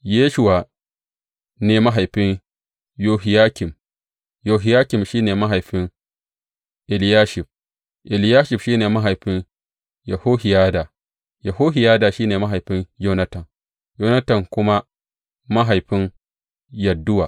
Yeshuwa ne mahaifin Yohiyakim, Yohiyakim shi ne mahaifin Eliyashib, Eliyashib shi ne mahaifin Yohiyada, Yohiyada shi ne mahaifin Yonatan, Yonatan kuma mahaifin Yadduwa.